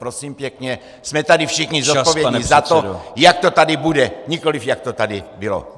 Prosím pěkně, jsme tady všichni zodpovědní za to, jak to tady bude, nikoliv jak to tady bylo!